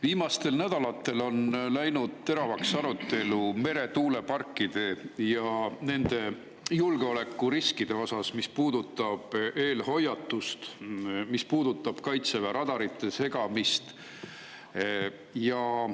Viimastel nädalatel on läinud teravaks arutelu meretuuleparkide ja nende julgeolekuriskide üle, mis puudutavad eelhoiatust ja Kaitseväe radarite segamist.